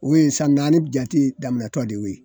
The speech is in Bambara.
O ye san naani jate daminɔtɔ de ye o ye.